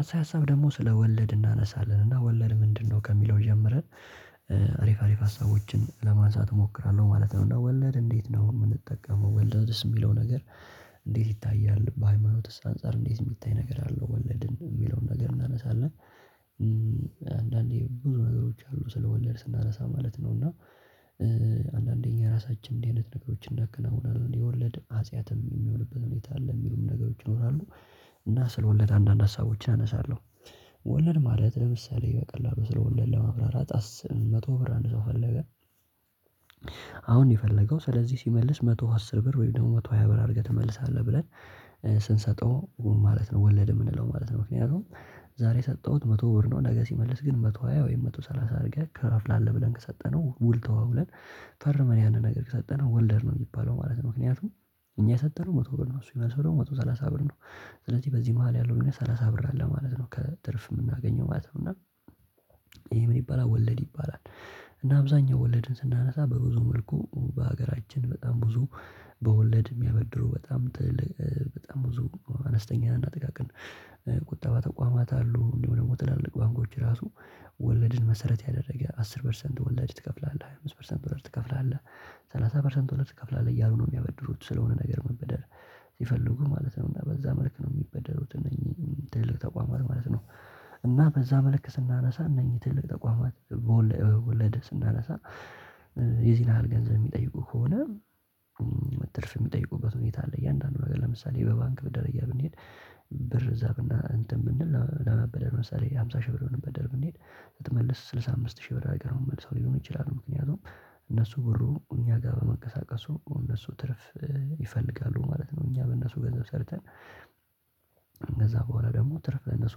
ቀጣይ ሀሳብ ደግሞ ስለ ወለድ እናነሳለን እና ወለድ ምንድነው ከሚለው ጀምረን አሪፍ አሪፍ ሀሳቦችን ለማንሳት እሞክራለሁ ማለት ነው። ወለድ እንዴት ነው የምንጠቀመው፤ ወለድስ የሚለው ነገር እንዴት ይታያል በሃይማኖትስ አንፃር እንዴት የሚታይ ነገር አለው ወለድን? የሚለውን ነገር እናነሳለን አንዳንዴ ብዙ ነገሮች አሉ ስለወለድ ስናነሳ ማለት ነው እና አንዳንዴ አኛ ራሳችን እንዲህ አይነት ነገሮችን እናከናውናለን። የወለድ ሀጠመያትም የሚሆንበት ሁኔታ አለ የሚሉም ነገሮች ይኖራሉ። እና ስለወለድ አንዳንድ ሀሳቦችን አነሳለሁ። ወለድ ማለት ለምሳሌ በቀላሉ ስለ ወለድ ለመብራራት መቶ ብር አንድ ሰው ፈለገ፤ አሁን የፈለገው ስለዚህ ሲመልስ መቶ አስር ብር ወይም ደግሞ መቶ ሃያ ብር አድርገህ ትመልሳለህ ብለን ስንሰጠው ማለት ነው ወለድ የምንለው ማለት ነው። ምክንያቱም ዛሬ የሰጠሁት መቶ ብር ነው ነገ ሲመልስ ግን አንድ መቶ ሃያ ወይ አንድ መቶ ሰላሳ አድርገህ ትከፍላለህ ብለን ከሰጠነው ውል ተወውለን ፈርመን ያንን ነገር ከሰጠነው ወለድ ነው የሚባለው ማለት ነው። ምክንያቱም እኛ የሰጠነው መቶ ብር ነው እሱ የሚመልሰው ደግሞ መቶ ሰላሳ ብር ነው ስለዚህ በዚህ መሃል ያለው ሚና ሰላሳ ብር አለ ማለት ነው ከትርፍ የምናገኘው ማለት ነው እና ይሄ ምን ይባላል ወለድ ይባላል። እና አብዛኛው ወለድን ስናነሳ በብዙ መልኩ በሀገራችን በጣም ብዙ በወለድ የሚያበድሩ በጣም ብዙ አነስተኛ እና ጥቃቅን ቁጠባ ተቋማት አሉ። እንዲሁ ደግሞ ትላልቅ ባንኮች ራሱ ወለድን መሰረት ያደረገ አስር ፐርሰንት ወለድ ትከፍላለህ፤ አምስት ፐርሰንት ወላድ ትከፍላለህ፤ ሰላሳ ፐርሰንት ወለድ ትከፍላለህ እያሉ ነው የሚያበድሩት ስለሆነ ነገር መበደር ሲፈልጉ ማለት ነው። እና በዛ መልክ ነው የሚበደሩት እነኚህ ትልቅ ተቋማት ማለት ነው። እና በዛ መልክ ስናነሳ እነይህ ትልልቅ ተቋማት ወለድ ስናነሳ የዚህን ያህል ገንዘብ የሚጠይቁ ከሆነ ትረፍ የሚጠይቁበት ሁኔታ አለ። እያንዳንዱ ነገር ለምሳሌ በባንክ ደ ረጃ ብንሄድ ብር እዛ እንትን ብንል ለመበደር ለምሳሌ ሃምሳ ሺህ ብር ለመ በደር ብንሄድ እንሂድ ስትመልስ ስድሳ አምስት ሺህ ብር አገር መልሰው ሊሆን ይችላል። ምክንያቱም እነሱ ብሩ እኛ ጋር በመቀሳቀሱ እነሱ ትርፍ ይፈልጋሉ ማለት ነው። እኛ በእነሱ ገንዘብ ሰርተን ከዛ በኋላ ደግሞ ትርፍ ለእነሱ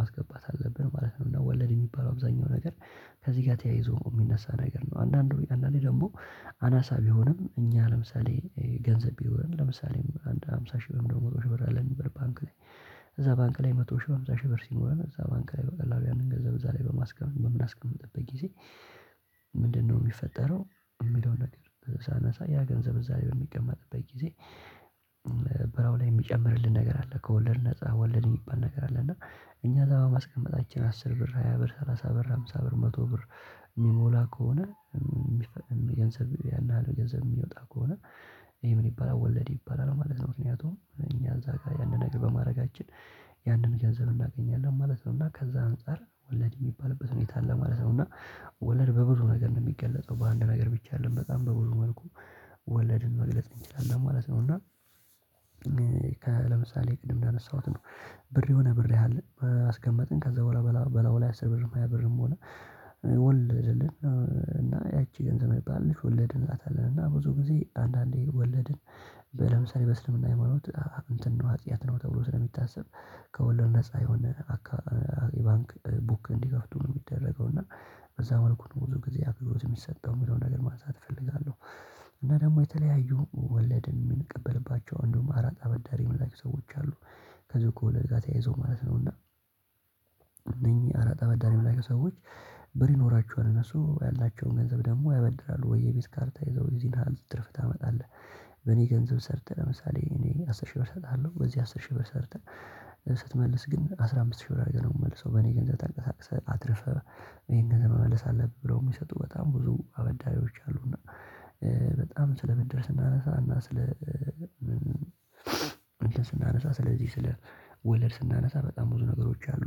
ማስገባት አለብን ማለት ነው። እና ወለድ የሚባለው አብዛኛው ነገር ከዚህ ጋር ተያይዞ የሚነሳ ነገር ነው። አንዳንዴ ደግሞ አናሳ ቢሆንም እኛ ለምሳሌ ገንዘብ ቢሆንም ለምሳሌም አንድ ሃምሳ ሺህ ብር ለምሳሌ መቶ ሺህ ብር አለን እንበል ባንክ ላይ እዛ ባንክ ላይ መቶ ሺህ ብር ሃምሳ ሺህ ብር ሲኖር እዛ ባንክ ላይ በቀላሉ ያንን ገንዘብ እዛ ላይ በማስቀመጥ በምንናስቀምጥበት ጊዜ ምንድነው የሚፈጠረው የሚለው ነገር ሳነሳ ያ ገንዘብ እዛ ላይ በሚቀመጥበት ጊዜ ብሩ ላይ የሚጨምርልን ነገር አለ ከወለድ ነፃ ወለድ የሚባል ነገር አለ እና እኛ እዛ በማስቀመጣችን አስር ብር፤ ሃያ ብር፤ ሰላሳ ብር፤ ሃምሳ ብር፤ መቶ ብር የሚሞላ ከሆነ የሚፈጠር ያን ያህል ገንዘብ የሚወጣ ከሆነ ይሄ ምን ይባላል ወለድ ይባላል ማለት ነው። ምክንያቱም እኛ እዛ ጋር ያንን ነገር በማድረጋችን ያንን ገንዘብ እናገኛለን ማለት ነው። እና ከዛ አንፃር ወለድ የሚባልበት ሁኔታ አለ ማለት ነው እና ወለድ በብዙ ነገር ነው እሚሚገለጸው በአንድ ነገር ብቻ አይደለም። በጣም በብዙ መልኩ ወለድን መግለጽ እንችላለን ማለት ነው እና ለምሳሌ ቅድም እንዳነሳሁት ነው ብር የሆነ ብር ያህል አስቀመጥን ከዛ በኋላ በላው ላይ አስብርም አያብርም ሆነ ወለድልን እና ያቺ ገንዘብ የሚባል ወለድ እናታለን እና ብዙ ጊዜ አንዳንዴ ወለድን ለምሳሌ በእስልምና ሃይማኖት እንትን ነው ሀጥያት ነው ተብሎ ስለሚታሰብ ከወለድ ነፃ የሆነ ባንክ ቡክ እንዲከፍቱ ነው የሚደረገው እና በዛ መልኩ ነው ብዙ ጊዜ አብዮት የሚሰጠው የሚለውን ነገር ማሳሳት እፈልጋለሁ። እና ደግሞ የተለያዩ ወለድን የምንቀበልባቸው እንዲሁም አራጣ አበዳሪ ምንላቸው ሰዎች አሉ። ከዚህ ከወለድ ለጋር ተያይዞ ማለት ነው እና እነኚህ አራጣ አበዳሪ የምንላቸው ሰዎች ብር ይኖራቸዋል። እነሱ ያላቸውን ገንዘብ ደግሞ ያበድራ፤ ወይ የቤት ካርታ ይዘው የዚህን ያህል ትርፍ ታመጣለህ በኔ ገንዘብ ሰርተህ ለምሳሌ እኔ አስር ሺህ ብር ሰጥሃለሁ በዚህ አስር ሺህ ብር ሰርተህ ስትመልስ ግን አስራ አምስት ሺህ ብር አድርገን ነው የምመልሰው በእኔ ገንዘብ ተንቀሳቅሰህ፤ አትርፈህ ይሄን ገንዘብ መመለስ አለብህ ብለው የሚሰጡ በጣም ብዙ አበዳሪዎች አሉና በጣም እናነሳና ስለ ስለ ወለድ ስናነሳ በጣም ብዙ ነገሮች አሉ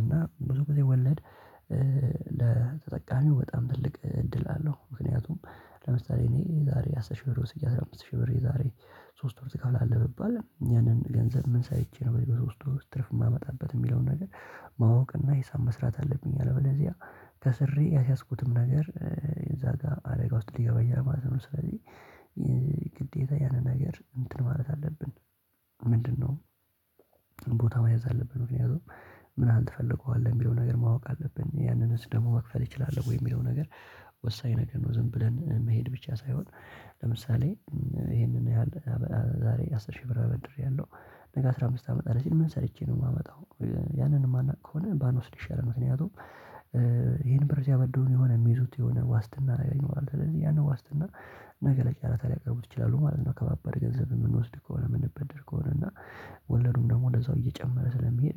እና ብዙ ጊዜ ወለድ ለተጠቃሚው በጣም ትልቅ እድል አለው። ምክንያቱም ለምሳሌ እኔ ዛሬ አስር ሺህ ብር ወስጄ አስራ አምስት ሺህ ብር የዛሬ ሶስት ወር ትከፍላለህ ብባል ያንን ገንዘብ ምን ሰሰርቼ ነው በዚህ በሶስት ወር ውስጥ ትርፍ የማመጣበት የሚለውን ነገር ማወቅ እና ሂሳብ መስራት አለብኝ። አለበለዚያ ከስሬ ያስያዝኩትም ነገር እዛ ጋር አደጋ ውስጥ ሊገባ ነው ማለት ነው ስለዚህ ግዴታ ያንን ነገር እንትን ማለት አለብን። ምንድነው ቦታ መያዝ አለብን። ምክንያቱም ምንያህል ትፈልገዋለህ የሚለው ነገር ማወቅ አለብን። ያንንስ ደግሞ መክፈል እችላለሁ ወይ የሚለው ነገር ወሳኝ ነገር ነው ዝም ብለን መሄድ ብቻ ሳይሆን ለምሳሌ ይሄንን ያህል ዛሬ አስር ሺህ ብር አድሬያለሁ ነገ አስራ አምስት አመት ታመጣለህ ሲል ምን ሰርቼ ነው የማመጣው? ያንን የማናውቅ ከሆነ ባንወስድ ይሻላል ምክንያቱም ይሄን ብር ሲያበድሩ የሆነ የሚይዙት የሆነ ዋስትና ነገር ይኖራል ስለዚህ ያን ዋስትና ነገ ለጨረታ ሊያቀርቡት ይችላሉ ማለት ነው ከባባድ ገንዘብ የምንወስድ ከሆነ የምንበድር ከሆነ እና ወለዱም ደግሞ እንዛው እየጨመረ ስለሚሄድ